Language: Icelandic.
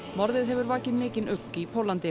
morðið hefur vakið mikinn ugg í Póllandi